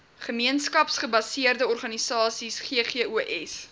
gemeenskapsgebaseerde organisasies ggos